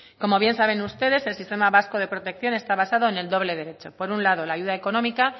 como bien saben ustedes el sistema vasco de protección está basado en el doble derecho por un lado la ayuda económica